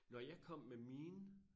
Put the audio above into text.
Når jeg kom med mine